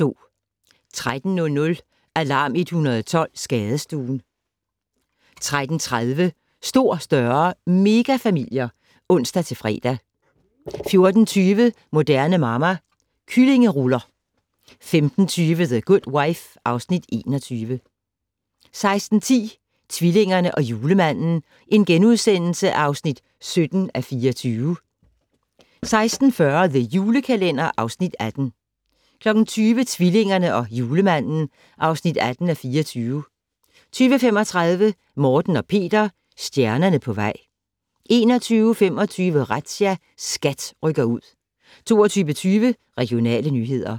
13:00: Alarm 112 - Skadestuen 13:30: Stor, større - megafamilier (ons-fre) 14:20: Moderne Mamma - Kyllingeruller 15:20: The Good Wife (Afs. 21) 16:10: Tvillingerne og Julemanden (17:24)* 16:40: The Julekalender (Afs. 18) 20:00: Tvillingerne og Julemanden (18:24) 20:35: Morten og Peter - stjernerne på vej 21:25: Razzia - SKAT rykker ud 22:20: Regionale nyheder